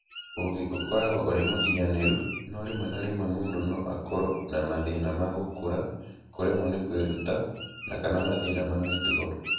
Ũgĩ ũkoragwo ũrĩ mũkinyanĩru, no rĩmwe na rĩmwe mũndũ no akorũo na mathĩna ma gũkũra, kũremwo nĩ kwĩruta, na/kana mathĩna ma mĩtugo.